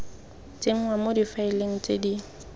tsenngwa mo difaeleng tse di